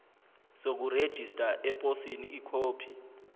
sokurejista eposini ikhophi